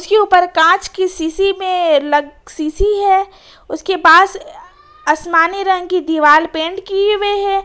कांच की ऊपर कांच की सीसी में लग सीसी है उसके पास आसमानी रंग की दीवार पेंट की हुऐ है।